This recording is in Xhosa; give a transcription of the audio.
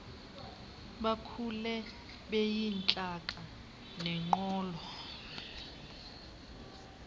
bakhule beyintlaka nexolo